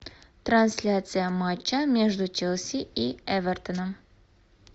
трансляция матча между челси и эвертоном